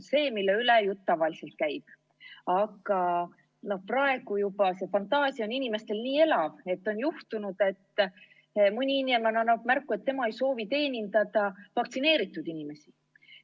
Aga praegu on inimeste fantaasia juba nii elav, et on juhtunud, et mõni inimene annab märku, et tema ei soovi teenindada vaktsineeritud inimesi.